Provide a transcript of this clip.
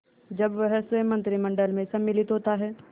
जब वह स्वयं मंत्रिमंडल में सम्मिलित होता है